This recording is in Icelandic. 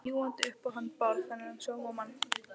Ljúgandi upp á hann Bárð, þennan sómamann.